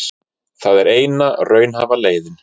Það er eina raunhæfa leiðin